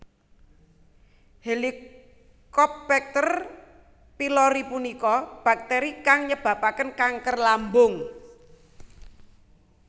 Helicobacter Pylori punika bakteri kang nyebabaken kanker lambung